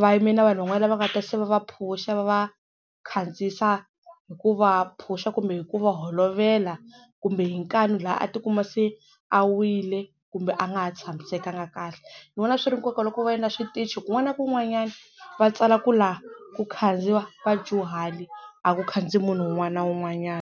va yime na vanhu van'wana va nga ta se va va phusha va va khandziyisa hi ku va phusha kumbe hi ku va holovela kumbe hi nkani laha a ti kuma se a wile kumbe a nga ha tshamisekanga kahle. Ni vona swi ri na nkoka loko va endla switichi kun'wana na kun'wanyana va tsala ku laha ku khandziya vadyuhari a ku khandziyi munhu un'wana na un'wanyana.